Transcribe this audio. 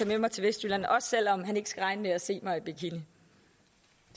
med mig til vestjylland også selv om han ikke skal regne med at se mig i bikini